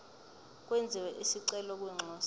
kwenziwe isicelo kwinxusa